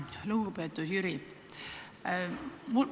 Lugupeetud Jüri!